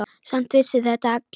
Samt vissu þetta allir.